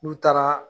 N'u taara